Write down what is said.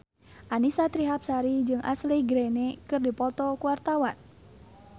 Annisa Trihapsari jeung Ashley Greene keur dipoto ku wartawan